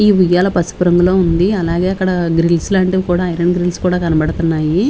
ఈ ఉయ్యాల పసుపు రంగులో ఉంది అలాగే అక్కడా గ్రిల్స్ లాంటివి కూడా ఐరన్ గ్రిల్స్ కూడా కనపడతన్నాయి .